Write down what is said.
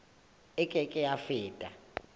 e ke ke ya feta